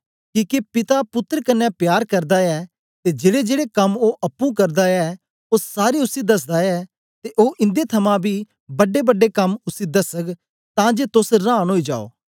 किके पिता पुत्तर कन्ने प्यार करदा ऐ ते जेड़ेजेड़े कम्म ओ अप्पुं करदा ऐ ओ सारे उसी दसदा ऐ ते ओ इन्दे थमां बी बड्डेबड्डे कम्म उसी दसग तां जे तोस रांन ओई जायो